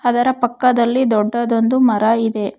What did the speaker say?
ಅದರ ಪಕ್ಕದಲ್ಲಿ ದೊಡ್ಡದೊಂದು ಮರ ಇದೆ.